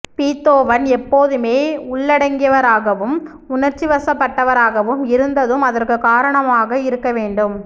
Beethoven எப்போதுமே உள்ளடங்கியவராகவும் உணர்ச்சிவசப்பட்டவராகவும் இருந்ததும் அதற்குக் காரணமாக இருக்க வேண்டும்